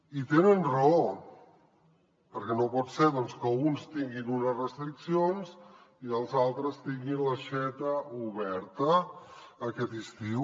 i tenen raó perquè no pot ser que alguns tinguin unes restriccions i els altres tinguin l’aixeta oberta aquest estiu